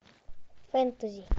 фэнтези